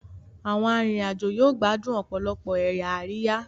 Àwọn arinrin-ajo yóò gbádùn òpòlopò ẹyà Àríyá